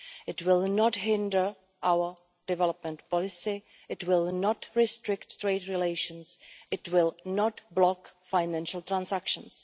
It will not hinder our development policy, it will not restrict trade relations, and it will not block financial transactions.